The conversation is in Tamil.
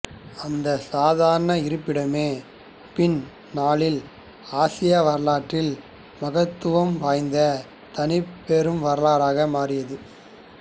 அந்தச் சாதாரண இருப்பிடமே பின் நாளில் ஆசிய வரலாற்றில் மகத்துவம் வாய்ந்த தனிப் பெரும் வரலாறாக மாறியது